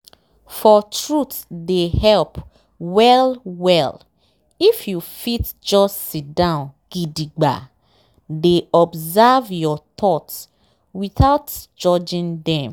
for truthe dey help well well if you fit just siddon gidigba dey observe your thoughts without judging dem